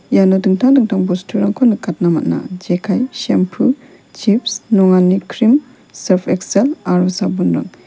iano dingtang dingtang bosturangko nikatna man·a jekai sempu chips nongani krim sarp eksel aro sabonrang.